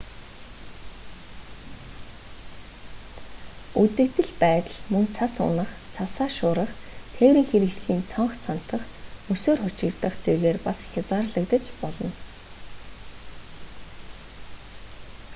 үзэгдэл байдал мөн цас унах цасаар шуурах тээврийн хэрэгслийн цонх цантах мөсөөр хучигдах зэргээр бас хязгаарлагдаж болно